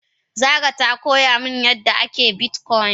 Zara ta koya mun yadda ake bitcoin.